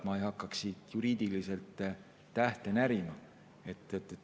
Ma ei hakkaks siin juriidiliselt tähte närima.